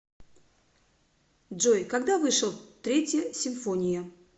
джой когда вышел третья симфония